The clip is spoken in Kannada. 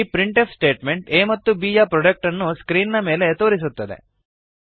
ಈ ಪ್ರಿಂಟ್ ಎಫ್ ಸ್ಟೇಟ್ಮೆಂಟ್ a ಮತ್ತು b ಯ ಪ್ರೊಡಕ್ಟ್ ಅನ್ನು ಸ್ಕ್ರೀನ್ ನ ಮೇಲೆ ತೋರಿಸುತ್ತದೆ